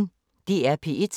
DR P1